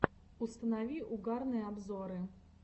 установи угарные обзоры